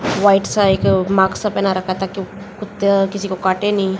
White सा एक साईक मास्क सा पेहना रखा है ताकि कुत्ता किसी को काटे नहीं।